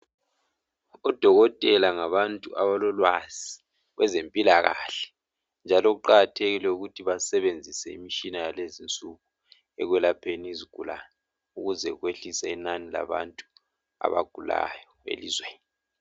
Odokotela ngabantu abalolwazi kwezempilakahle njalo kuqakathekile ukuthi basebenzise imitshina yalezinsuku ekwelapheni izigulani ukuze kwehlise inani labantu abagulayo elizweni.